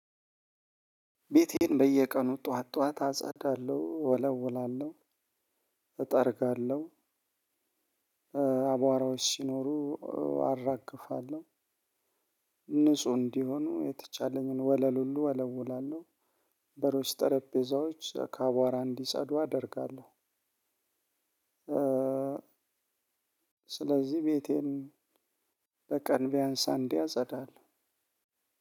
ቤቴን በየቀኑ ጠዋት ጠዋት አጸዳለሁ፣ እወለውላለሁ፣ እጠርጋለሁ፣ አቧራዎች ሲኖሩ አራግፋለሁ ንጹህ እንዲሆኑ የተቻለኝን ወለል ሁሉ እወለዉላለሁ በሮች ጠረጴዛዎች ከአቧራ እንዲጸዱ አደርጋለሁ። ስለዚህ ቤቴን በቀን ቢያንስ አንዴ አጸዳለሁ።